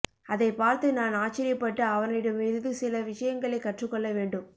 அதைப் பார்த்து நான் ஆச்சரியப்பட்டு அவரிடமிருந்து சில விஷயங்களைக் கற்றுக் கொள்ள வேண்டும்